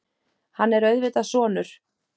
Hann er auðvitað sonur